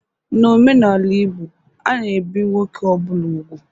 N'omenala Igbo a na-ebi nwoke ọ bụla úgwù.